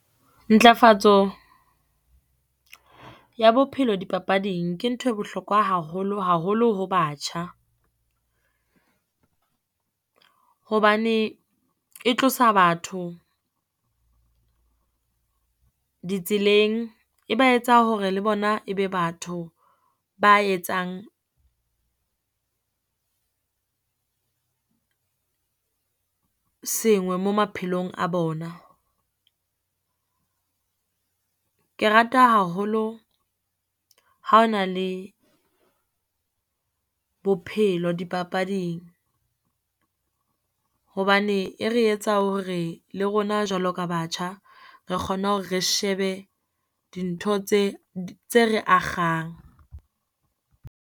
Ntlafatso ya bophelo dipapading ke nthwe bohlokwa haholo, haholo ho batjha. Hobane e tlosa batho ditseleng, e ba etsa hore le bona e be batho ba etsang sengwe mo maphelong a bona. Ke rata haholo ha ho na le bophelo dipapading hobane e re etsa hore le rona, jwalo ka batjha, re kgone hore re shebe dintho tse, tse re akgang.